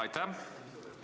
Aitäh!